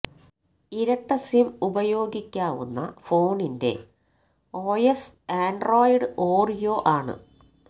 ഇരട്ട സിം ഉപയോഗിക്കാവുന്ന ഫോണിന്റെ ഒഎസ് ആന്ഡ്രോയ്ഡ് ഓറീയോ ആണ്